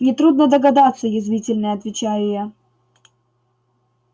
нетрудно догадаться язвительно отвечаю я